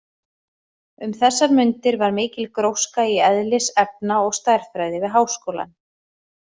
Um þessar mundir var mikil gróska í eðlis-, efna- og stærðfræði við háskólann.